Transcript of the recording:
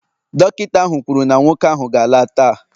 Dọkịta ahụ kwuru na nwoke ahụ ga-ala taa